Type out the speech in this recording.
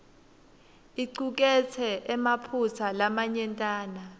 icuketse emaphutsa lamanyentana